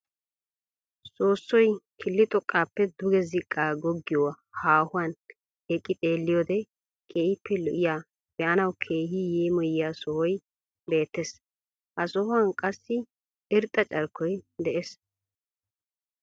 Soossoy killi xooqqaappe duge ziqqaa goggiyoo haahuwaan eqqi xeelliyoode keehippe lo"iyaa be'anawu keehi yeemoyiyaa sohoy beettees. ha sohuwaan qassi irxxa carkkoy de'ees.